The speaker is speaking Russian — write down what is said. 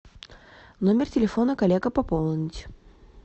номер телефона коллега пополнить